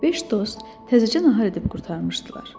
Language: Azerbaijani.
Beş dost təzəcə nahar edib qurtarmışdılar.